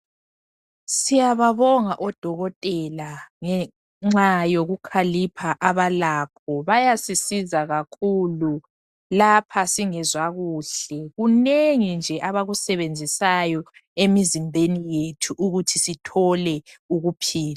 Siyababonga odokotela ngenxa yokukhalipha abalakho, bayasisiza kakhulu lapha singezwa kuhle . Kunengi nje abakusebenzisayo emizimbeni yethu ukuthi sithole ukuphila.